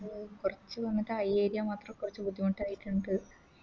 കൊർച്ച് വന്നിട്ട് അയ്യേ Area മാത്രം കൊർച്ച് ബുദ്ധിമുട്ടായിട്ട്ണ്ട്